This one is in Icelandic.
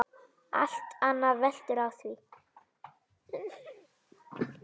Allt annað veltur á því.